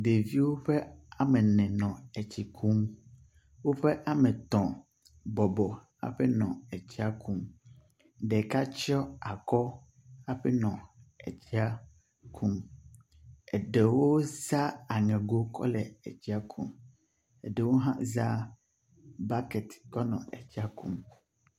Ɖeviwo ƒe ame ene nɔ etsi kum. Woƒe ame etɔ̃ bɔbɔ hafi nɔ etsia kum. Ɖeka tsɔ akɔ hafi nɔ etsia kum. Eɖewo za aŋego hafi kɔ le etsia kum eɖewo hã za baket kɔ le etsia kum.